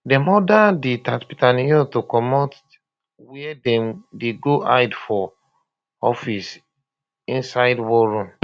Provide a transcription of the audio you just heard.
dem order um di tatzpitaniyot to comot wia dem dey go hide for um office inside war room